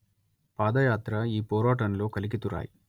పాదయాత్ర ఈ పోరాటంలో కలికితురాయి